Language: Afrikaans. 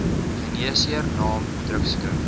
geneesheer naam drukskrif